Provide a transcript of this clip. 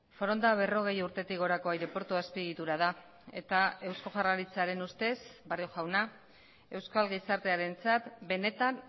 foronda berrogei urtetik gorako aireportu azpiegitura da eta eusko jaurlaritzaren ustez barrio jauna euskal gizartearentzat benetan